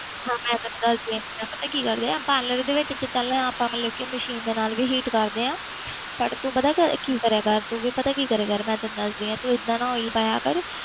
ਹਾਂ ਮੈਂ ਤੈਨੂੰ ਦੱਸਦੀ ਹਾਂ ਕਿੱਦਾਂ ਪਤਾ ਕੀ ਗੱਲ ਆ parlour ਦੇ ਵਿੱਚ ਤਾਂ ਚੱਲ ਆਪਾਂ ਮਤਲਬ ਕਿ machine ਦੇ ਨਾਲ ਵੀ heat ਕਰਦੇ ਹਾਂ ਪਰ ਤੂੰ ਪਤਾ ਕਰ ਕੀ ਕਰਿਆ ਕਰ ਤੂੰ ਵੀ ਪਤਾ ਕੀ ਕਰਿਆ ਕਰ ਮੈਂ ਤੈਨੂੰ ਦੱਸਦੀ ਹਾਂ, ਤੂੰ ਏਦਾਂ ਨਾ oil ਪਾਇਆ ਕਰ,